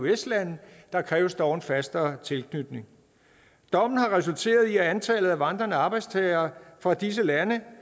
eøs lande der kræves dog en fastere tilknytning dommen har resulteret i at antallet af vandrende arbejdstagere fra disse lande